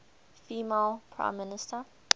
female prime minister